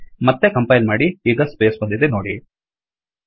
ಮತ್ತೆ ಕಂಪೈಲ್ ಮಾಡಿ ಈಗ ಸ್ಪೇಸ್ ಬಂದಿದೆ ನೋಡಿ